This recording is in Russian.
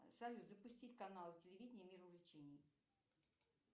салют запустить канал телевидение мир увлечений